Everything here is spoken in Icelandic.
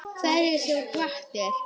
Hverjar sem hvatir